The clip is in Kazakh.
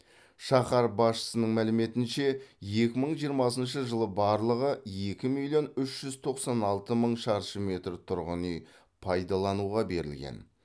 шаһар басшысының мәліметінше екі мың жиырмасыншы жылы барлығы екі миллион үш жүз тоқсан алты мың шаршы метр тұрғын үй пайдалануға берілген